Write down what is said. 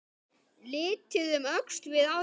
Litið um öxl við áramót.